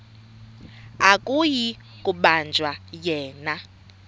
akuyi kubanjwa yena